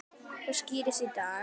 Það skýrist í dag.